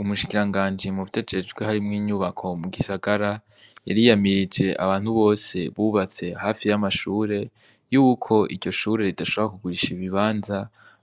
Umushikiranganji muvyo ajejwe harimwo inyubako mu gisagara yariyamirije abantu bose bubatse hafi y'amashure yuko iryo shure ridashobora kugurisha ibibanza,